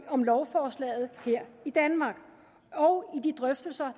om lovforslaget her i danmark og i de drøftelser